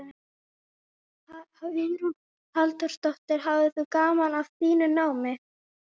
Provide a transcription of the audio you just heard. Hugrún Halldórsdóttir: Hafðir þú gaman af þínu námi?